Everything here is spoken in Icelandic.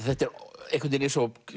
þetta er einhvern veginn eins og